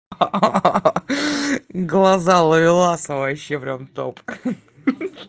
ха-ха глаза ловеласа вообще прям топ хи-хи